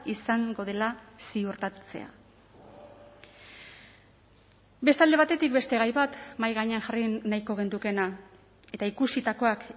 izango dela ziurtatzea beste alde batetik beste gai bat mahai gainean jarri nahiko genukeena eta ikusitakoak